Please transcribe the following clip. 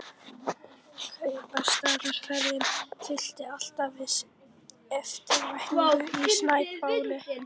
Kaupstaðarferðum fylgdi alltaf viss eftirvænting í Sæbóli.